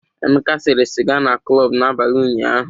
Emeka sẹ̀ré sịga na klọb n'abalị ụnyahụ.